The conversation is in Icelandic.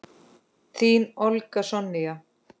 Þín, Olga Sonja.